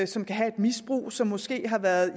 som kan have et misbrug og som måske har været